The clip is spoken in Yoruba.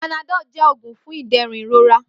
Panadọ́l jẹ́ òògùn fún ìdẹ̀rùn ìrora